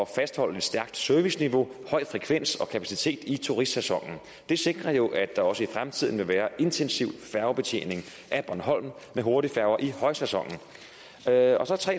fastholde et stærkt serviceniveau med høj frekvens og kapacitet i turistsæsonen det sikrer jo at der også i fremtiden vil være intensiv færgebetjening af bornholm med hurtigfærger i højsæsonen der er tre